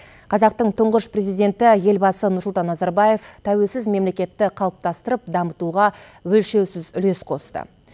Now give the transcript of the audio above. қазақтың тұңғыш президенті елбасы нұрсұлтан назарбаев тәуелсіз мемлекетті қалыптастырып дамытуға өлшеусіз үлес қосты